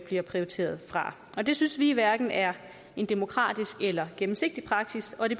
bliver prioriteret fra det synes vi hverken er en demokratisk eller gennemsigtig praksis og det